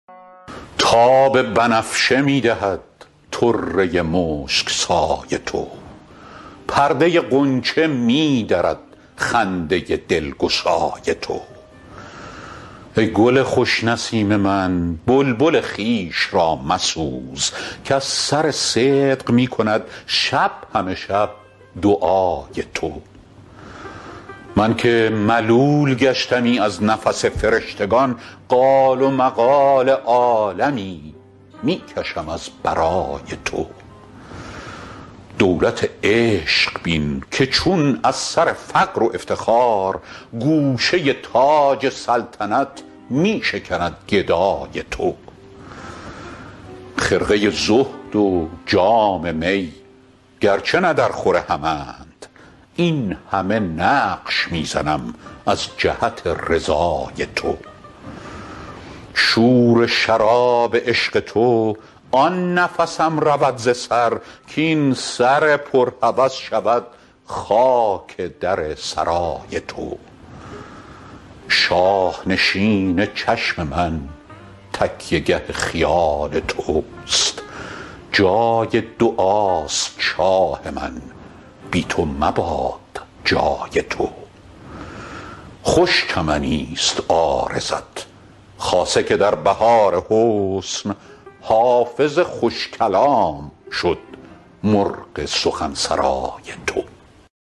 تاب بنفشه می دهد طره مشک سای تو پرده غنچه می درد خنده دلگشای تو ای گل خوش نسیم من بلبل خویش را مسوز کز سر صدق می کند شب همه شب دعای تو من که ملول گشتمی از نفس فرشتگان قال و مقال عالمی می کشم از برای تو دولت عشق بین که چون از سر فقر و افتخار گوشه تاج سلطنت می شکند گدای تو خرقه زهد و جام می گرچه نه درخور همند این همه نقش می زنم از جهت رضای تو شور شراب عشق تو آن نفسم رود ز سر کاین سر پر هوس شود خاک در سرای تو شاه نشین چشم من تکیه گه خیال توست جای دعاست شاه من بی تو مباد جای تو خوش چمنیست عارضت خاصه که در بهار حسن حافظ خوش کلام شد مرغ سخن سرای تو